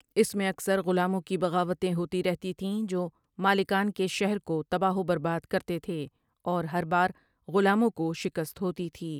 اس میں اکثر غلاموں کی بغاوتیں ہوتی رہتی تھیں جو مالکان کے شہر کو تباہ و برباد کرتے تھے اور ہر بار غلاموں کو شکست ہوتی تھی ۔